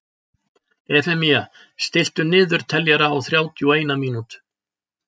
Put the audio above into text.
Efemía, stilltu niðurteljara á þrjátíu og eina mínútur.